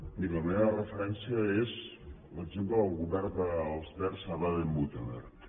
miri la meva referència és l’exemple del govern dels verds de baden württemberg